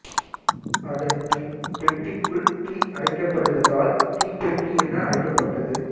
அதன் பின் பெட்டிக்குள் தீ அடைக்கப்படுவதால் தீப்பெட்டி என அழைக்கப்பட்டது